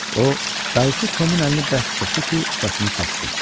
O dayısı Tomun əlini bərk sıxdı ki, səsini kəssin.